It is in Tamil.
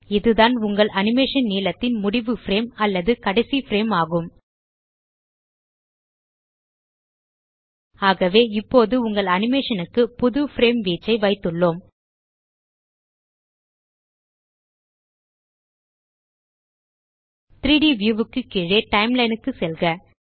இதுதான் உங்கள் அனிமேஷன் நீளத்தின் முடிவு பிரேம் அல்லது கடைசி பிரேம் ஆகும் ஆகவே இப்போது உங்கள் அனிமேஷன் க்கு புது பிரேம் வீச்சை வைத்துள்ளோம் 3ட் வியூ க்கு கீழே டைம்லைன் க்கு செல்க